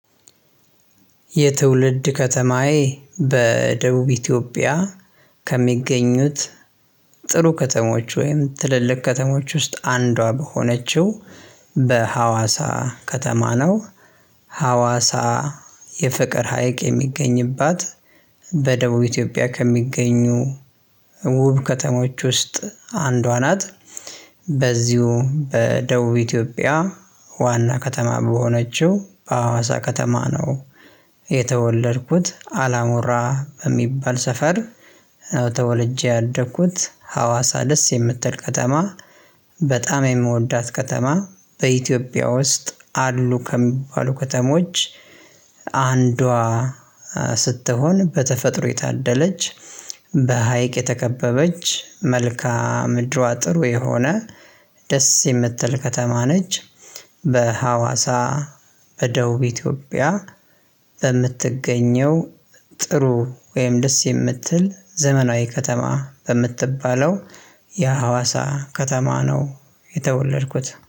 የትውልድ ከተማዬ በደቡብ ኢትዮጵያ ከሚገኙት ጽኑ ከተሞች ወይም ትልልቅ ከተሞች ውስጥ አንዷ በሆነችው በሀዋሳ ከተማ ነው ሀዋሳ የፍቅር ሀይቅ የሚገኝባት በደቡብ ኢትዮጵያ ከሚገኙ ውብ ከተሞች ውስጥ አንዷ ናት። በዚሁ በደቡብ ኢትዮጵያ ዋና ከተማ በሆነችው በአዋሳ ከተማ ነው። የተወለድኩት አላሞራ በሚባል ሰፈር ነው ተወልጄ ያደግኩት ሀዋሳ ደስ የምትል ከተማ በጣም የምወዳት ከተማ በኢትዮጵያ ውስጥ አሉ ከሚባሉ ከተሞች አንዷ ስትሆን በተፈጥሮ የታደለች፣ በሀይቅ የተከበበች፣ መልካም ምድሯ ጥሩ የሆነ፣ ደስ የምትል ከተማ ነች። በሀዋሳ በደቡብ ኢትዮጵያ በምትገኘው ጥሩ ወይም ደስ የምትል ዘመናዊ ከተማ በምትባለው የሀዋሳ ከተማ ነው የተወለድኩት